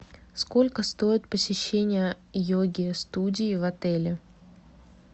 сколько стоит посещение йоги студии в отеле